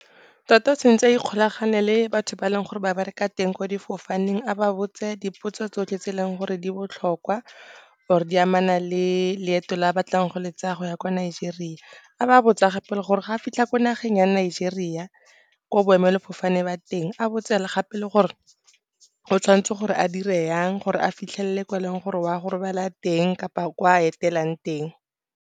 Tota tshwantse a ikgolaganye le batho ba e leng gore ba bereka teng kwa sefofaneng, a ba botse dipotso tsotlhe tse e leng gore di botlhokwa kgotsa di amana le leeto la a batlang go le tsaya go ya kwa Nigeria. A ba botsa gore ga a fitlha ko nageng ya Nigeria, ko boemelafofane ba teng, a botse le gape gore o tshwanetse gore a dire jang gore a fitlhelele ko eleng gore wa go robala teng kapa ko a etelang teng.